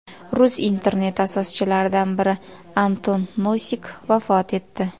Rus interneti asoschilaridan biri Anton Nosik vafot etdi.